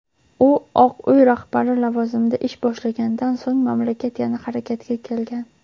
u Oq uy rahbari lavozimida ish boshlagandan so‘ng mamlakat yana "harakatga kelgan".